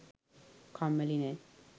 කම්මැලි නෑ.